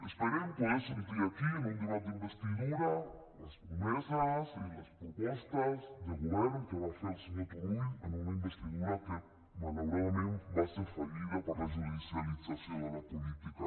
esperem poder sentir aquí en un debat d’investidura les promeses i les propostes de govern que va fer el senyor turull en una investidura que malauradament va ser fallida per la judicialització de la política